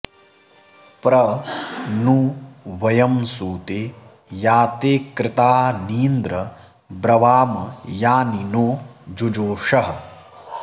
प्र नु वयं सुते या ते कृतानीन्द्र ब्रवाम यानि नो जुजोषः